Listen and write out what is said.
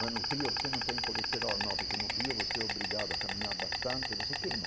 Mas no frio você não tem colesterol, não, porque no frio você é obrigado a caminhar bastante e você queima.